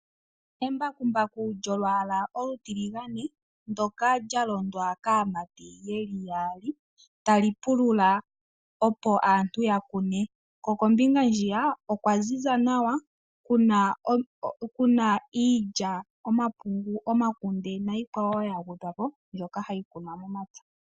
Embakumbaku lyolwala olu tilingane ndoka lyalondwa kamati yeli yaali talipulula opo aantu yakune ko kombinga ndjiya okwanzinza nawa kuna iilya, omapungu, omakunde, nikwawo yangwedhwapo mbyoka hayikunwa momapya